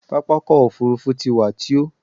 Pápákọ̀ òfurufú ti wà tio.